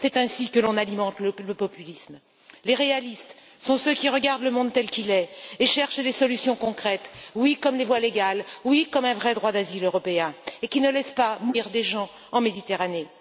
C'est ainsi que l'on alimente le populisme. Les réalistes sont ceux qui regardent le monde tel qu'il est et cherchent des solutions concrètes oui, comme les voies légales, oui, comme un vrai droit d'asile européen et qui ne laissent pas mourir des gens en Méditerranée.